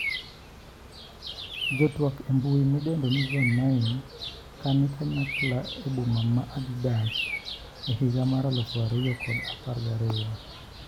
Jotwak embui midendo ni Zone9 kani kanyakla e boma ma Addis Ababa, e higa mar alufu ariyo kod apar gariyo.